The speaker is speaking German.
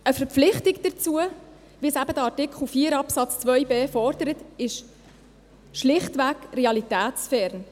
Eine Verpflichtung, wie eben in Artikel 4 Absatz 2 gefordert, ist schlichtweg realitätsfern.